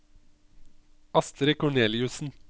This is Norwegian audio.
Astrid Korneliussen